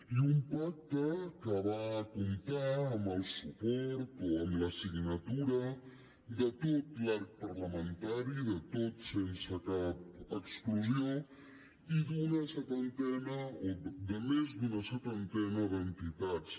i un pacte que va comptar amb el suport o amb la signatura de tot l’arc parlamentari de tot sense cap exclusió i d’una setantena o de més d’una setantena d’entitats